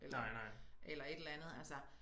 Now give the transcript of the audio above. Eller eller et eller andet altså